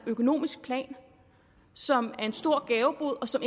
økonomisk plan som er en stor gavebod og som